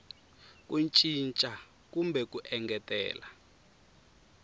ku cinca kumbe ku engetelela